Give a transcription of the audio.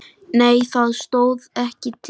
Nei það stóð ekki til.